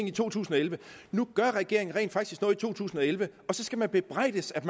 i 2011 nu gør regeringen rent faktisk noget i to tusind og elleve og så skal vi bebrejdes at